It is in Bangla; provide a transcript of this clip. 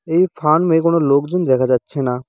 এই ফার্ম -এ কোনো লোকজন দেখা যাচ্ছে না।